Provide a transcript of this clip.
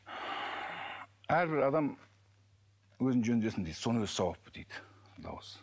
әрбір адам өзін жөндесін дейді соның өзі сауап дейді дауыс